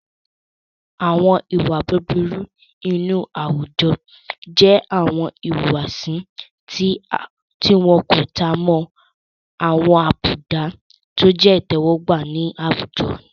Àwọn ìwà búburú inú àwùjọ jẹ́ àwọn ìwùwàsí tí wọ́n kò tan mọ́ àwọn àbùdá tọ jẹ́ ìtẹ́wọ́gbà nínú àwùjọ.